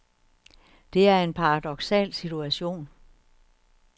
Det er en paradoksal situation.